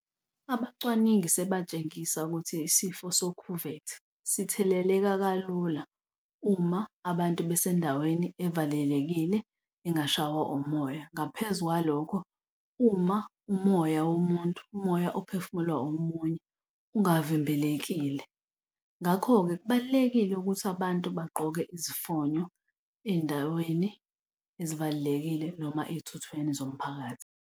Abacwaningi sebatshengisa ukuthi isifo sokhuvethe sitheleleka kalula uma abantu basendaweni evalelekile angashaywa umoya. Ngaphezu kwalokho, uma umoya womuntu, umoya ophefumulwa omunye ungavimbelekile. Ngakho-ke kubalulekile ukuthi abantu bagqoke izifonyo ey'ndaweni ezibalulekile noma ey'thuthweni zomphakathi.